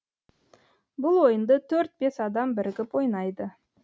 бұл ойынды төрт бес адам бірігіп ойнайды